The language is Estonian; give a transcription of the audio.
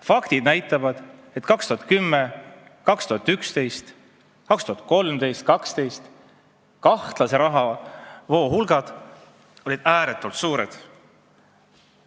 Faktid näitavad, et 2010, 2011, 2012 ja 2013 olid kahtlased rahavood ääretult suured.